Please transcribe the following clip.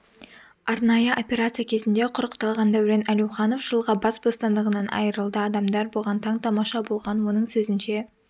арнайы операция кезінде құрықталған дәурен әлеуіанов жылға бас бостандығынан айырылды адамдар бұған таң-тамаша болған оның сөзінше